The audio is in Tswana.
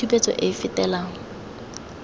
le tshupetso e e fetelang